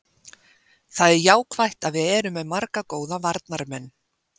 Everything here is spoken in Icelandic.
Það er jákvætt að við erum með marga góða varnarmenn.